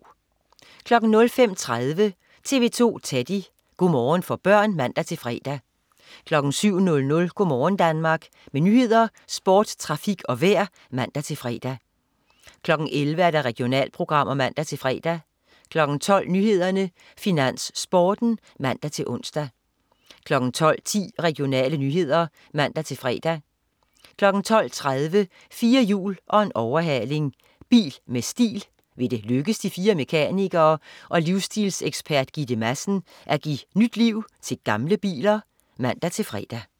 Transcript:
05.30 TV 2 Teddy. Go' morgen for børn (man-fre) 07.00 Go' morgen Danmark. Med nyheder, sport, trafik og vejr (man-fre) 11.00 Regionalprogrammer (man-fre) 12.00 Nyhederne, Finans, Sporten (man-tors) 12.10 Regionale nyheder (man-fre) 12.30 4 hjul og en overhaling. Bil med stil. Vil det lykkes de fire mekanikere og livsstilsekspert Gitte Madsen at give nyt liv til gamle biler? (man-fre)